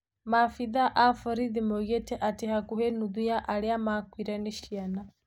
Maabithaa a vorithi moigĩte atĩ vakuvĩ nuthu ya arĩa makuĩre ni ciana.